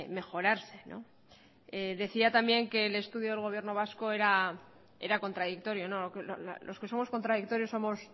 mejorarse no decía también que el estudio del gobierno vasco era contradictorio no los que somos contradictorios somos